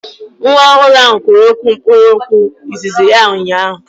Nwa ọhụrụ ahụ kwuru mkpụrụokwu izizi ya ụnyaahụ